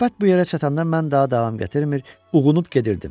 Söhbət bu yerə çatanda mən daha davam gətirmir, uyğunub gedirdim.